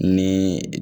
Ni